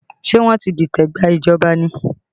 Ṣé wọ́n ti dìtẹ̀ gba ìjọba ni?